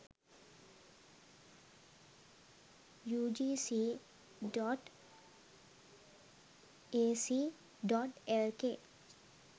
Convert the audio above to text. ugc.ac.lk